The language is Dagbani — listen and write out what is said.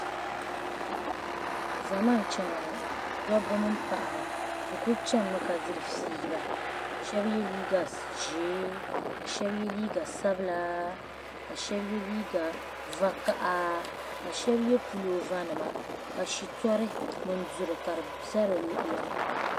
Zama n chani ŋɔ dabi mini paɣaba bɛ kuli chanimi ka diri fiila shabi ye. liiga ʒɛɛ kashabi ye liiga sabila ka shabi ye liiga vakaha ka shabi ye pulɔva nima ka shito mini duri ka di za dini